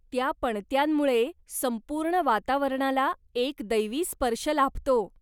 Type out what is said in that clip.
त्या पणत्यांमुळे संपूर्ण वातावरणाला एक दैवी स्पर्श लाभतो.